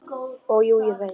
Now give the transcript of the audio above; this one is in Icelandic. Og jú, ég veit.